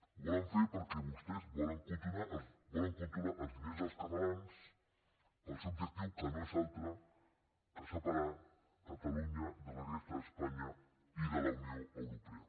ho volen fer per·què vostès volen controlar els diners dels catalans per al seu objectiu que no és altre que separar catalunya de la resta d’espanya i de la unió europea